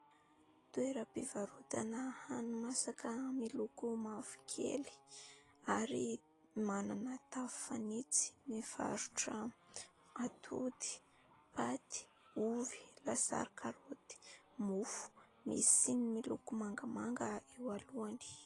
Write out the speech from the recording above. Toeram-pivarotana hani-masaka miloko mavokely ary manana tafo fanitso. Mivarotra atody, paty, ovy, lasary karaoty, mofo, misy siny miloko mangamanga eo alohany.